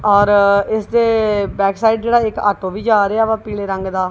ਔਰ ਇਸਦੇ ਬੈਕਸਾਈਡ ਜਿਹੜਾ ਇਕ ਆਟੋ ਵੀ ਜਾ ਰਿਹਾ ਪੀਲੇ ਰੰਗ ਦਾ।